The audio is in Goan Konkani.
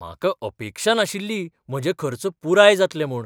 म्हाका अपेक्षा नाशिल्ली म्हजे खर्च पुराय जातले म्हूण.